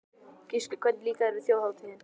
Gísli: Hvernig líkaði þér Þjóðhátíðin?